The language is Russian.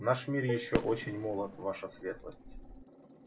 наш мир ещё очень молод ваша светлость